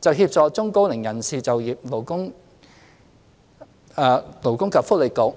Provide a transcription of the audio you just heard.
就協助中高齡人士就業，勞工及福利局、